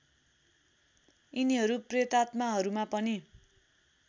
यिनीहरू प्रेतात्माहरूमा पनि